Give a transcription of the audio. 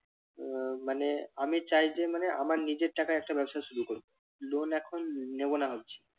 আহ মানে আমি চাই যে মানে আমার নিজের টাকায় একটা ব্যবসা শুরু করব loan এখন নেব না ভাবছি।